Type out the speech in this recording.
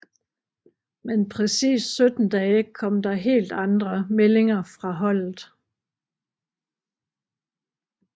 Men præcist 17 dage kom der helt andre meldinger fra holdet